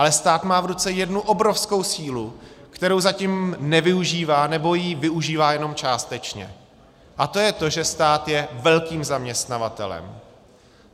Ale stát má v ruce jednu obrovskou sílu, kterou zatím nevyužívá, nebo ji využívá jenom částečně, a to je to, že stát je velkým zaměstnavatelem.